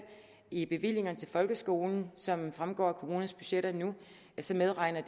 i bevillingerne til folkeskolen som fremgår af kommunernes budgetter nu medregner